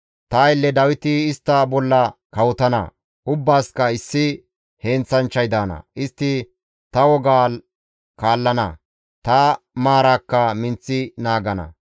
« ‹Ta aylle Dawiti istta bolla kawotana; ubbaasikka issi heenththanchchay daana; istti ta wogaa kaallana; ta maaraakka minththi naagana.